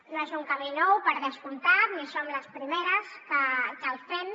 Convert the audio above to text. no és un camí nou per descomptat ni som les primeres que el fem